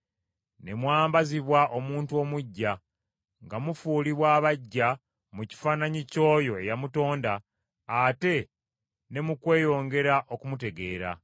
ne mwambazibwa omuntu omuggya, nga mufuulibwa abaggya mu kifaananyi ky’oyo eyamutonda, ate ne mu kweyongera okumutegeera.